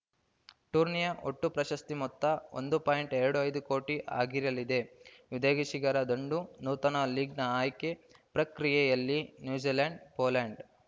ಟೂರ್ನಿಯ ಒಟ್ಟು ಪ್ರಶಸ್ತಿ ಮೊತ್ತ ಒಂದು ಪಾಯಿಂಟ್ ಎರಡು ಐದು ಕೋಟಿ ಆಗಿರಲಿದೆ ವಿದೇಗಿಶಿರ ದಂಡು ನೂತನ ಲೀಗ್‌ನ ಆಯ್ಕೆ ಪ್ರಕ್ರಿಯೆಯಲ್ಲಿ ನ್ಯೂಜಿಲೆಂಡ್‌ ಪೋಲೆಂಡ್‌